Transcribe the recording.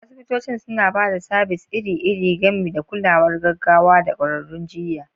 Asibitoci suna ba da sabis iri-iri, gami da kulawar gaggawa da ƙwararrun jiyya.